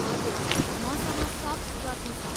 हजुर, मसँग सफ्ट प्रति छ।